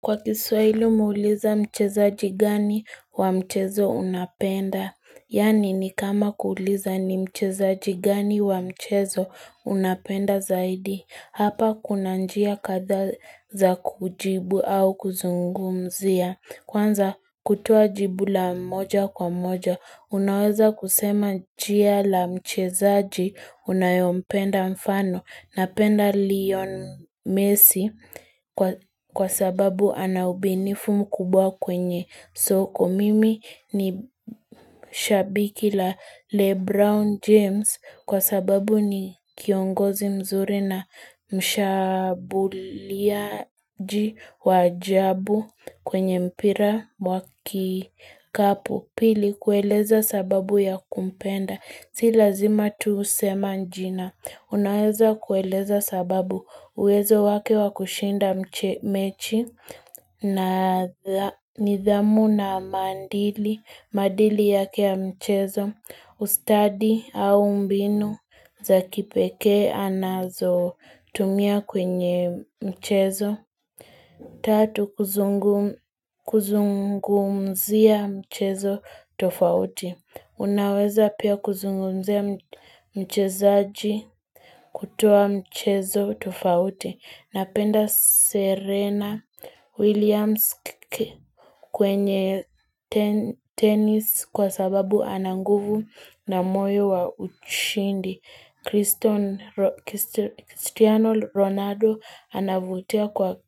Kwa kiswaili umeuliza mchezaji gani wa mchezo unapenda. Yaani ni kama kuuliza ni mchezaji gani wa mchezo unapenda zaidi. Hapa kuna njia kadhaa za kujibu au kuzungumzia. Kwanza kutoa jibu la moja kwa moja. Unaweza kusema njia la mchezaji unayopenda mfano. Napenda Leon Messi kwa sababu ana ubinifu mkubwa kwenye soko. Mimi ni shabiki la Le Brown James kwa sababu ni kiongozi mzuri na mshabuliaji waajabu kwenye mpira wakikapo. Upili kueleza sababu ya kumpenda, si lazima tu usema njina. Unaweza kueleza sababu uwezo wake wa kushinda mechi na nidhamu na maandili, maadili yake ya mchezo, ustadi au mbinu za kipeke anazo tumia kwenye mchezo. Tatu kuzungumzia mchezo tofauti. Unaweza pia kuzungumzia mchezaji kutoa mchezo tofauti. Napenda Serena Williams kwenye tenis kwa sababu ana nguvu na moyo wa uchindi. Cristiano Ronaldo anavutia kwa